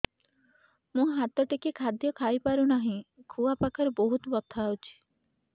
ମୁ ହାତ ଟେକି ଖାଦ୍ୟ ଖାଇପାରୁନାହିଁ ଖୁଆ ପାଖରେ ବହୁତ ବଥା ହଉଚି